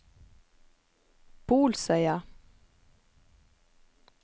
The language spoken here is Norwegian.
Bolsøya